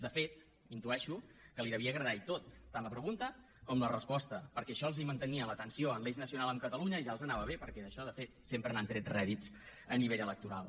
de fet intueixo que li devia agradar i tot tant la pregunta com la resposta perquè això els mantenia la tensió en l’eix nacional amb catalunya i ja els anava bé perquè d’això de fet sempre n’han tret rèdits a nivell electoral